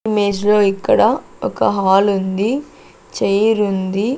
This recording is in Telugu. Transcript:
ఇమేజ్ లో ఇక్కడ ఒక హాల్ ఉంది చైరు ఉంది.